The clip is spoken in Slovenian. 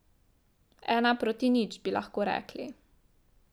Ena proti nič, bi lahko rekli.